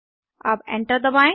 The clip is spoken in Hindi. अब एंटर दबाएं